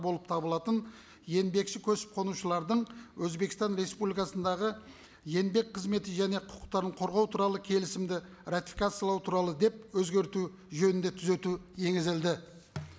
болып табылатын еңбекші көшіп қонушылардың өзбекстан республикасындағы еңбек қызметі және құқықтарын қорғау туралы келісімді ратификациялау туралы деп өзгерту жөнінде түзету енгізілді